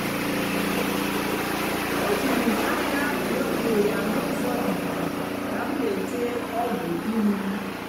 o juru m anya mgbe m hụrụ ya n’ụzọ ikuku ka m na-ete ọgwụ ihu m